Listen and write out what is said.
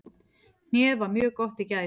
Hnéð var mjög gott í gær.